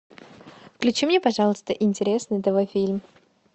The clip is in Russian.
включи мне пожалуйста интересный тв фильм